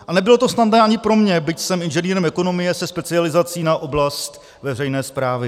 A nebylo to snadné ani pro mě, byť jsem inženýrem ekonomie se specializací na oblast veřejné správy.